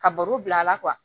Ka baro bila a la